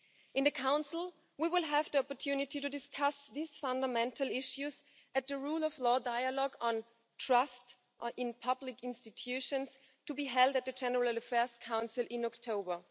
At the Council we will have the opportunity to discuss these fundamental issues at the rule of law dialogue on trust in public institutions, to be held at the General Affairs Council in October.